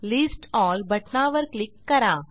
list L बटनावर click करा